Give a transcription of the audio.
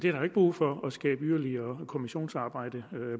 er ikke brug for at skabe yderlige kommissionsarbejde